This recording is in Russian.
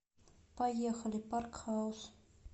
поехали парк хаус